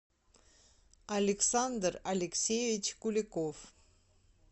александр алексеевич куликов